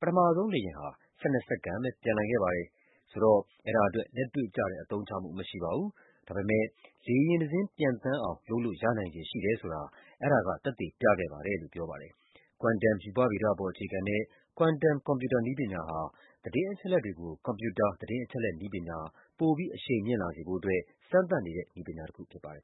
ပထမဆုံးလေယာဉ်ဟာ ၁၂ စက္ကန့်ပဲ ပျံနိုင်ခဲ့ပါတယ်။ ဆိုတော့ အဲဒါ အတွက် လက်တွေ့ကျတဲ့ အသုံးချမှုမရှိပါဘူး။ ဒါပေမယ့် လေယာဉ်တစင်း ပျံအောင် လုပ်လို့ရနိုင်ခြေ ရှိတယ်ဆိုတာ အဲဒါက သက်သေပြခဲ့ ပါတယ်လို့ ပြောပါတယ်။ Quantum ရူပဗေဒပေါ်အခြေခံတဲ့ quantum ကွန်ပြူတာနည်းပညာဟာ သတင်း အချက်အလက် နည်းပညာ ပိုပြီး အရှိန်မြင့်လာစေဖို့ အတွက် စမ်းသပ်နေတဲ့ နည်းပညာတခု ဖြစ်ပါတယ်